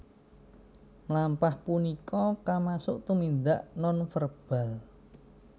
Mlampah punika kamasuk tumindak nonverbal